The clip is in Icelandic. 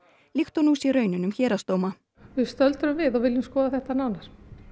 líkt og nú sé raunin um héraðsdóma við stöldrum við og viljum skoða þetta nánar